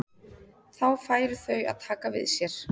Þá færu þau að taka við sér.